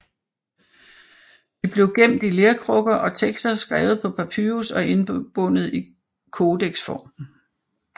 De blev gemt i lerkrukker og tekster skrevet på papyrus og indbundet i kodeksform